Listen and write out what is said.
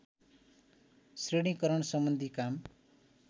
श्रेणीकरण सम्बन्धी काम